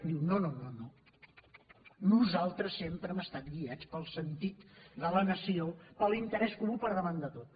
diu no no no no nosaltres sempre hem estat guiats pel sentit de la nació per l’interès comú per davant de tot